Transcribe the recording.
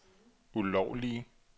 ulovlige